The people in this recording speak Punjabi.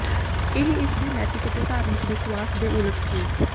ਇਹ ਇਸ ਦੇ ਨੈਤਿਕ ਅਤੇ ਧਾਰਮਿਕ ਵਿਸ਼ਵਾਸ ਦੇ ਉਲਟ ਸੀ